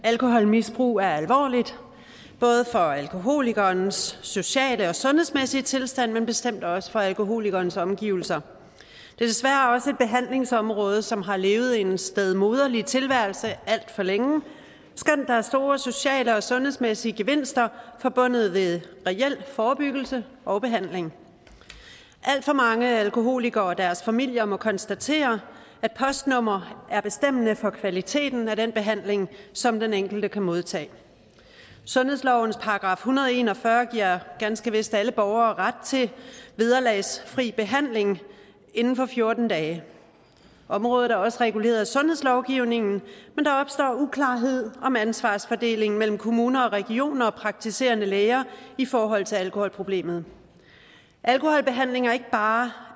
at alkoholmisbrug er alvorligt både for alkoholikerens sociale og sundhedsmæssige tilstand men bestemt også for alkoholikerens omgivelser det er desværre også et behandlingsområde som har levet en stedmoderlig tilværelse alt for længe skønt der er store sociale og sundhedsmæssige gevinster forbundet ved reel forebyggelse og behandling alt for mange alkoholikere og deres familier må konstatere at postnummeret er bestemmende for kvaliteten af den behandling som den enkelte kan modtage sundhedslovens § en hundrede og en og fyrre giver ganske vist alle borgere ret til vederlagsfri behandling inden for fjorten dage området er også reguleret af sundhedslovgivningen men der opstår uklarhed om ansvarsfordelingen mellem kommuner og regioner og praktiserende læger i forhold til alkoholproblemet alkoholbehandling er ikke bare